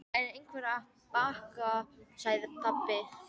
Það er einhver að banka, sagði pabbi.